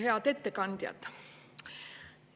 Head ettekandjad!